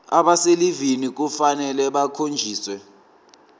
abaselivini kufanele bakhonjiswe